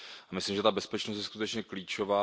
Myslím si, že ta bezpečnost je skutečně klíčová.